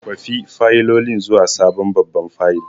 Kwafi fayilolin zuwa sabon babban fayil!